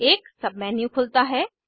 एक सबमेन्यू खुलता है